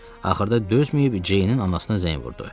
Axırda dözməyib Ceynin anasına zəng vurdu.